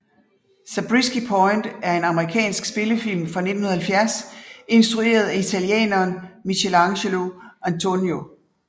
Zabriskie Point er en amerikansk spillefilm fra 1970 instrueret af italieneren Michelangelo Antonioni